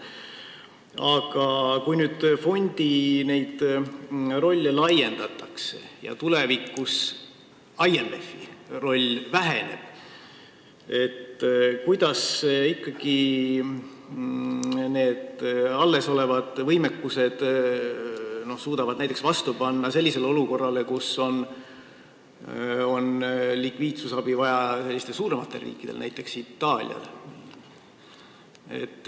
Aga kui nüüd fondi rolle laiendatakse ja tulevikus IMF-i osa väheneb, siis kuidas ikkagi sellest allesolevast võimekusest piisab, et hakkama saada olukorras, kus on likviidsusabi vaja suurematele riikidele, näiteks Itaaliale.